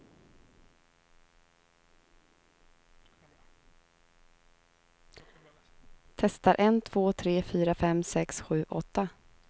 Testar en två tre fyra fem sex sju åtta.